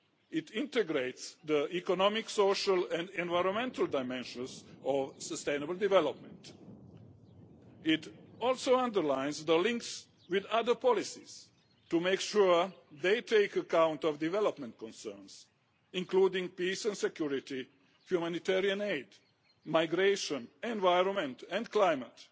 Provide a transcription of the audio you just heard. It integrates the economic, social and environmental dimensions of sustainable development and also underlines the links with other policies to make sure they take account of development concerns, including peace and security, humanitarian aid, migration, environment and climate.